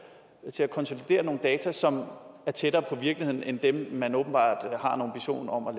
til at konsolidere nogle data som er tættere på virkeligheden end dem man åbenbart har en ambition om at